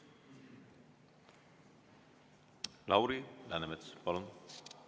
Lauri Läänemets, palun!